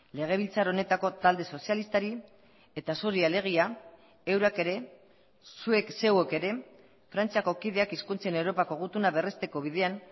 legebiltzar honetako talde sozialistari eta zuri alegia eurak ere zuek zeuek ere frantziako kideak hizkuntzen europako gutuna berresteko bidean